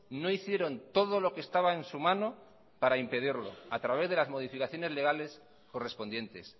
no hicieron todo lo que estaba en su mano para impedirlo a través de las modificaciones legales correspondientes